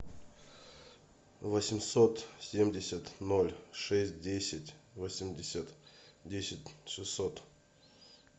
восемьсот семьдесят ноль шесть десять восемьдесят десять шестьсот